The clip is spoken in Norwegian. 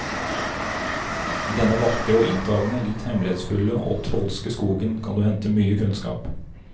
I denne vakre og inntagende, litt hemmelighetsfulle og trolske skogen kan du hente mye kunnskap.